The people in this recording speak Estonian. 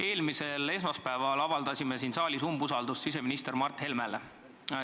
Eelmisel esmaspäeval avaldasime siin saalis umbusaldust siseminister Mart Helmele.